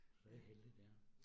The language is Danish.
Så det heldigt ja